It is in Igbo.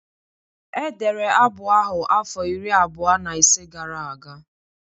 Edere abụ ahụ afọ iri abụọ na ise gara aga